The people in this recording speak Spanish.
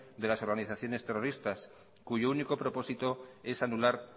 de las organizaciones terroristas cuyo único propósito es anular